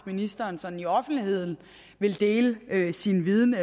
ministeren sådan i offentligheden ville dele dele sin viden